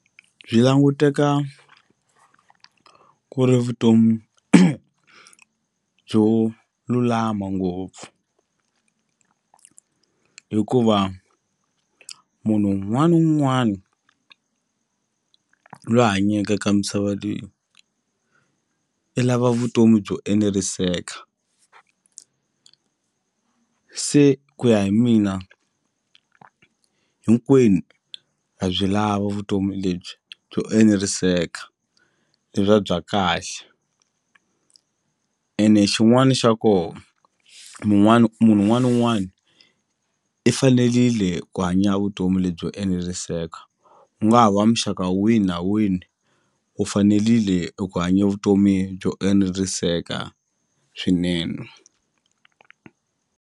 Byi languteka ku ri vutomi byo lulama ngopfu hikuva munhu wun'wana na wun'wani lwa hanyeke eka misava leyi i lava vutomi byo eneriseka se ku ya hi mina hinkwenu ha byi lava vutomi lebyi byo eneriseka le bya bya kahle ene xin'wani xa ko mun'wani munhu un'wani na un'wani i fanelile hi ku hanya vutomi lebyi byo eneriseka u nga ha wa muxaka wihi na wihi u fanelile eku hanya vutomi byo eneriseka swinene.